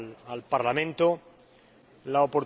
al Parlamento la